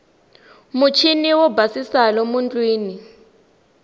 muchiniwo yo basisa lomu tindlwini